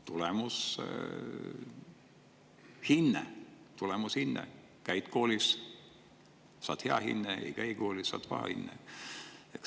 Tulemus on hinne: käid koolis, saad hea hinde, ei käi koolis, saad paha hinde.